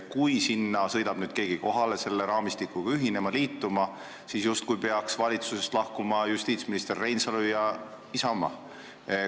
Kui keegi sõidab sinna kohale selle raamistikuga ühinema, liituma, siis peaks justkui justiitsminister Reinsalu ja Isamaa valitsusest lahkuma.